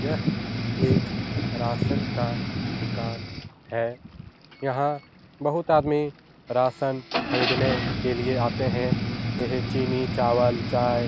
यह एक राशन का दुकान है यहां बहुत आदमी राशन खरीदने के लिए आते हैं ये हैं चीनी चावल चाय।